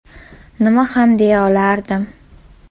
Nima ham deya olardim.